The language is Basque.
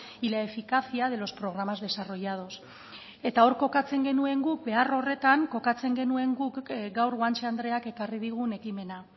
y la eficacia de los programas desarrollados eta hor kokatzen genuen guk behar horretan kokatzen genuen guk gaur guanche andreak ekarri digun ekimena